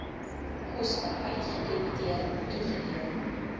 koste uitgedebiteer toegedeel